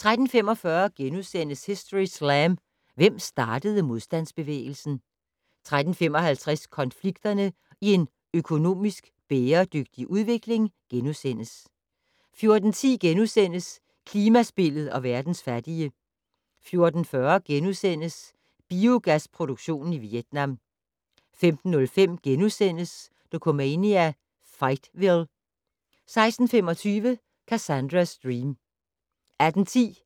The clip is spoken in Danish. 13:45: Historyslam - Hvem startede modstandsbevægelsen? * 13:55: Konflikterne i en økonomisk bæredygtig udvikling * 14:10: Klimaspillet og verdens fattige * 14:40: Biogasproduktion i Vietnam * 15:05: Dokumania: Fightville * 16:25: Cassandra's Dream 18:10: